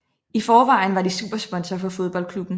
I forvejen var de supersponsor for fodboldklubben